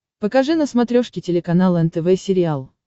покажи на смотрешке телеканал нтв сериал